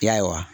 Ya